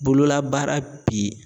Bololabaara bi